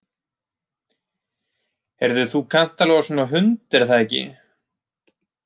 Heyrðu þú kannt alveg á svona hund, er það ekki?